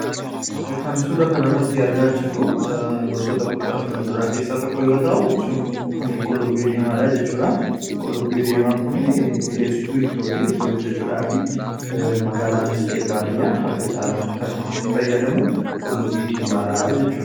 kan suura kan arratti argaa jirru gosoota kuduraa f muduraa keessaa tokko yoo ta'u kunis qullubbii diimaadhaa jechuudha. Qullubbii diimaan kun mi'eessitu ittoo itti hojjechuudhaaf nu gargaara.